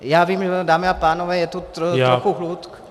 Já vím, dámy a pánové, je tu trochu hluk...